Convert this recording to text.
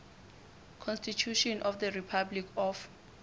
constitution of the republic of